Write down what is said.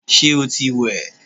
Ṣé o ti wẹ̀?